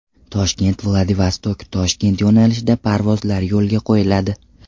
Toshkent-Vladivostok-Toshkent yo‘nalishida parvozlar yo‘lga qo‘yiladi.